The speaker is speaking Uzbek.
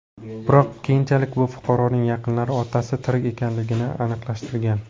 Biroq keyinchalik bu fuqaroning yaqinlari otasi tirik ekanligini aniqlashtirgan.